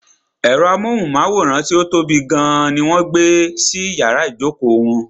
Ẹ̀rọ amóhùnmáwòrán tí ó tóbi gan ní wọ́n gbé sí iyàrá ìjókò wọn.